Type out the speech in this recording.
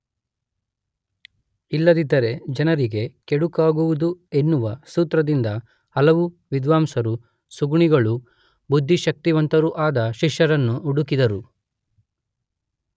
ಇಲ್ಲದಿದ್ದರೆ ಜನರಿಗೆ ಕೆಡುಕಾಗುವುದು ಎನ್ನುವ ಸೂತ್ರದಿಂದ ಹಲವು ವಿದ್ವಾಂಸರು ಸುಗುಣಿಗಳೂ ಬುದ್ಧಿಶಕ್ತಿವಂತರೂ ಆದ ಶಿಷ್ಯರನ್ನು ಹುಡುಕಿದರು